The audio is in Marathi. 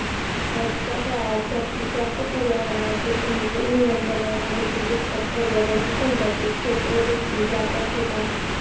आजच्या काळात जास्तीत जास्त पर्यावरणाचे अनुकूल नियम बनवण्याव्यतिरिक्त पर्यावरण सल्ल्याचे क्षेत्रदेखील व्यापक होत आहे